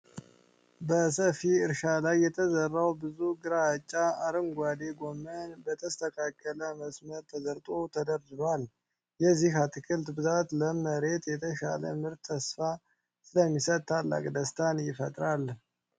በሰፊ እርሻ ላይ የተዘራው ብዙ ግራጫ አረንጓዴ ጎመን በተስተካከለ መስመር ተዘርቶ ተደርድሯል። የዚህ አትክልት ብዛትና ለም መሬት፣ የተሻለ ምርትን ተስፋ ስለሚሰጥ ታላቅ ደስታን ይፈጥራል።